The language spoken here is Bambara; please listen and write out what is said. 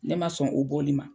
Ne ma sɔn o bɔli ma.